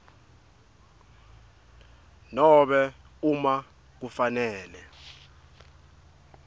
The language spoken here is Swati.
nobe uma kufanele